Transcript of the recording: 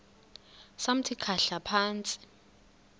samthi khahla phantsi